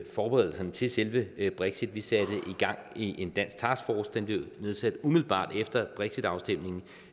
forberedelserne til selve brexit vi satte gang i en dansk taskforce der blev nedsat umiddelbart efter brexitafstemningen